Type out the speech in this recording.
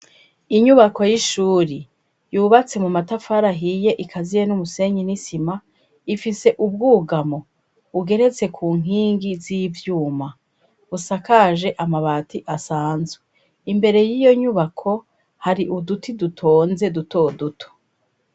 Inyubako y'ishuri yubatse mu matafari ahiye ikaziye n'umusenyi n'isima ifise ubwugamo bugeretse ku nkingi z'ivyuma busakaje amabati asanzwe imbere y'iyo nyubako hari uduti dutonze dutoduto.